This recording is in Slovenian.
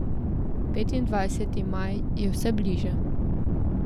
Petindvajseti maj je vse bliže.